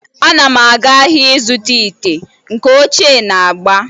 A na m aga ahia izuta ite, nke ochie na-agba